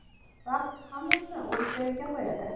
Vaqt hammasini o‘z joyiga qo‘yadi.